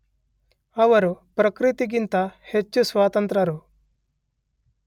ಅವರು ಪ್ರಕೃತಿಗಿಂತ ಹೆಚ್ಚು ಸ್ವತಂತ್ರರು.